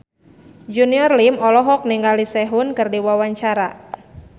Junior Liem olohok ningali Sehun keur diwawancara